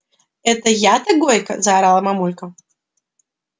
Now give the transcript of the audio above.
это я-то гойка заорала мамулька